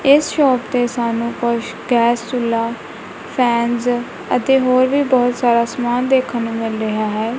ਇਸ ਸ਼ੋਪ ਤੇ ਸਾਨੂੰ ਕੁਝ ਗੈਸ ਚੁੱਲਾ ਫੈਨਸ ਅਤੇ ਹੋਰ ਵੀ ਬਹੁਤ ਸਾਰਾ ਸਮਾਨ ਦੇਖਣ ਨੂੰ ਮਿਲ ਰਿਹਾ ਹੈ।